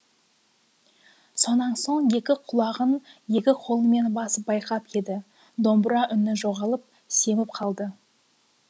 сонан соң екі құлағын екі қолымен басып байқап еді домбыра үні жоғалып семіп қалды